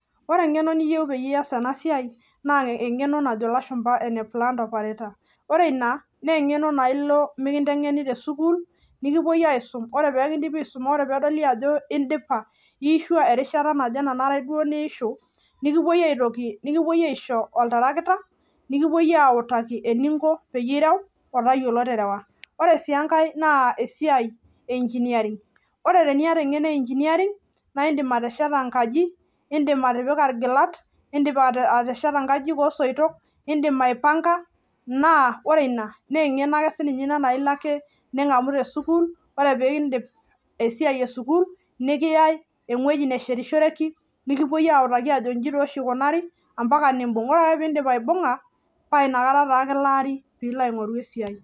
ore engeno niyiou piiyas ena siai naa enajo ilashumba plan operator naa ilo sukuul nikisumi erishata naje nikintokini aisho oltarakita likilikini otayiolo terewa ore sii ekae naa [cs[engineering naa ore ina naa iyiolou atesheta enkaji okulie tokiting ake kumook ampaka ninye niyiolou aipanga ore ake piiyiolou muj naa nimbung sii paa inakata kilaari piilo aingoru